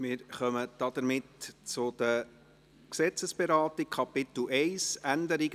Somit kommen wir zur Gesetzesberatung.